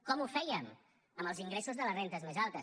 com ho fèiem amb els ingressos de les rendes més altes